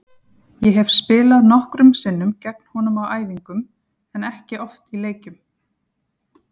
Ég hef spilað nokkrum sinnum gegn honum á æfingum en ekki oft í leikjum.